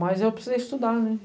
Mas eu precisei estudar, né?